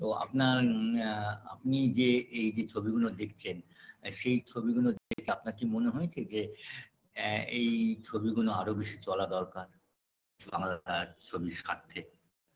ও আপনার ম্যা আপনি যে এই যে ছবিগুলো দেখছেন সেই ছবিগুলো দেখে আপনার কি মনে হয়েছে যে অ্যা এই ছবিগুলো আরও বেশি চলা দরকার আমার অ্যা ছবির স্বার্থে